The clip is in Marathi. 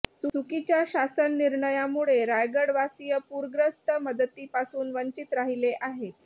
चुकीच्या शासन निर्णयामुळे रायगडवासीय पुरग्रस्त मदतीपासून वंचित राहीले आहेत